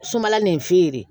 Sumala nin fe yen de